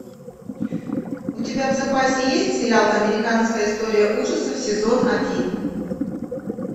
у тебя в запасе есть сериал американская история ужасов сезон один